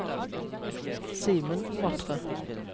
Simen Matre